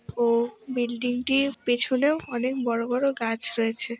ও building - টির পেছনেও অনেক বড় বড় গাছ রয়েছে।